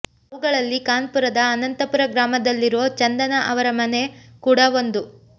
ಅವುಗಳಲ್ಲಿ ಕಾನ್ಪುರದ ಅನಂತಪುರ ಗ್ರಾಮದಲ್ಲಿರೋ ಚಂದನಾ ಅವರ ಮನೆ ಕೂಡ ಒಂದು